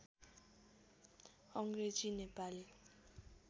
Angrezi Nepali